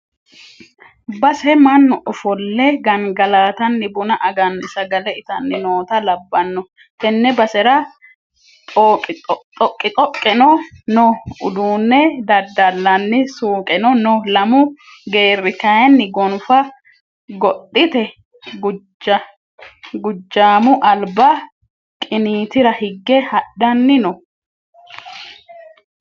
Base mannu ofolle gangallattanni buna aganni sagale ittanni nootta labbano tene basera xoqixoqeno no uduune daddallani suuqeno no lamu geerri kayinni gonfa godhite gujamu alba qinitira higge hadhanni no.